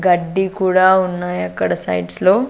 గడ్డి కూడా ఉన్నాయి అక్కడ సైడ్స్లో .